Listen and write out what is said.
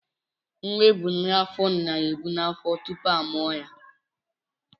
Nwa ebu n'afọ na-ebù n'afọ tupu a mụọ ya.